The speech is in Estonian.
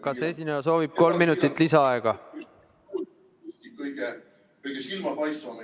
Kas esineja soovib kolm minutit lisaaega?